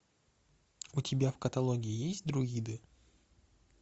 у тебя в каталоге есть друиды